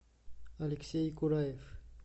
алексей кураев